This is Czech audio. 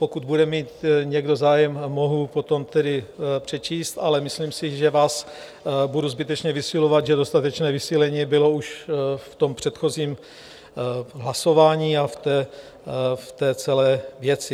Pokud bude mít někdo zájem, mohu potom tedy přečíst, ale myslím si, že vás budu zbytečně vysilovat, že dostatečné vysílení bylo už v tom předchozím hlasování a v té celé věci.